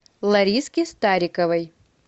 лариски стариковой